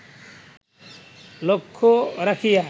লক্ষ্য রাখিয়া